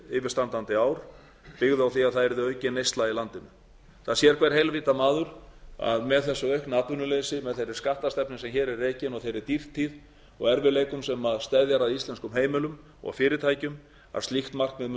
yfirstandandi ár byggði á því að það yrði aukin neysla í landinu það sér hver heilvita maður að með þessu aukna atvinnuleysi með þeirri skattastefnu sem hér er rekin og þeirri dýrtíð og erfiðleikum sem steðjar að íslenskum heimilum og fyrirtækjum að líkt markmið muni